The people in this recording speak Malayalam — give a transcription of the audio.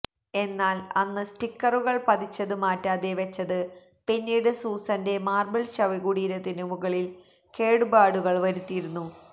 എന്നാല് അന്ന് സ്റ്റിക്കറുകള് പതിച്ചത് മാറ്റാതെ വെച്ചത് പിന്നീട് സൂസന്റെ മാര്ബിള് ശവകുടീരത്തിനു മുകളില് കേടുപാടുകള് വരുത്തിയിരുന്നു